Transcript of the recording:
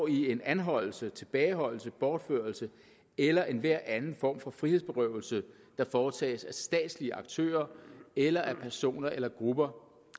i en anholdelse tilbageholdelse bortførelse eller enhver anden form for frihedsberøvelse der foretages af statslige aktører eller af personer eller grupper